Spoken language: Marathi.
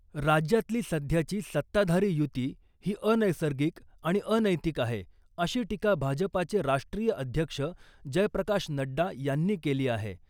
राज्यातली सध्याची सत्ताधारी युती ही अनैसर्गिक आणि अनैतिक आहे , अशी टीका भाजपाचे राष्ट्रीय अध्यक्ष जयप्रकाश नड्डा यांनी केली आहे .